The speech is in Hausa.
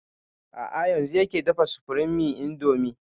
A'a yanzun yake tafa supreme indomie